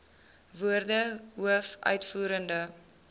woorde hoof uitvoerende